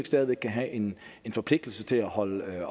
stadig væk kan have en forpligtelse til at holde øje